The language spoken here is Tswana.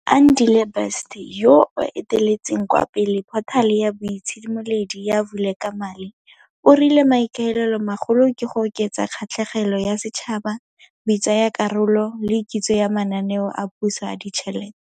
Andile Best, yoo a eteletseng kwa pele phothale ya boitshimoledi ya Vulekamali, o rile maikaelelomagolo ke go oketsa kgatlhegelo ya setšhaba, botsaakarolo le kitso ya mananeo a puso a ditšhelete.